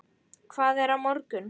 Hvað er á morgun?